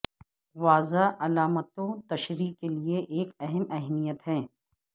واضح علامتوں تشریح کے لئے ایک اہم اہمیت ہے